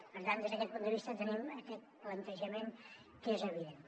per tant des d’aquest punt de vista tenim aquest plantejament que és evident